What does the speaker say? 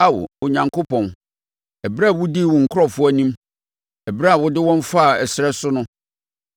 Ao Onyankopɔn, ɛberɛ a wodii wo nkurɔfoɔ anim, ɛberɛ a wode wɔn faa ɛserɛ so no,